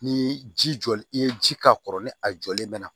Ni ji jɔli i ye ji k'a kɔrɔ ni a jɔlen bɛ